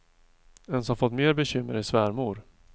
En som fått mer bekymmer, är svärmor.